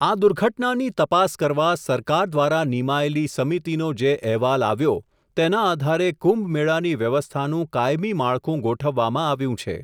આ દુર્ઘટનાની તપાસ કરવા, સરકાર દ્વારા નિમાયેલી સમિતિનો જે અહેવાલ આવ્યો, તેના આધારે કુંભ મેળાની વ્યવસ્થાનું કાયમી માળખું ગોઠવવામાં આવ્યું છે.